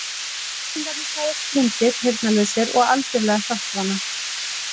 Kettlingarnir fæðast blindir, heyrnarlausir og algjörlega hjálparvana.